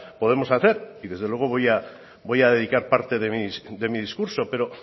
podemos hacer y desde luego voy a dedicar parte de mi discurso